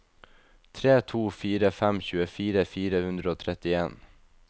tre to fire fem tjuefire fire hundre og trettien